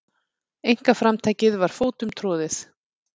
Einkaframtakið var fótum troðið.